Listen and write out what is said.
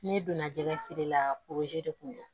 Ne donna jɛgɛ feere la de kun do